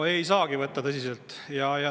No ei saagi võtta tõsiselt.